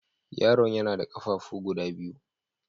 Yaron ya na da ƙafafu guda biyu.